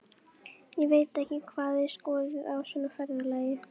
Ég veit ekki hvað þið skoðið á svona ferðalagi.